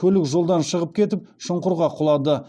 көлік жолдан шығып кетіп шұңқырға құлады